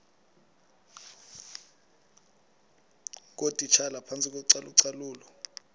ngootitshala phantsi kocalucalulo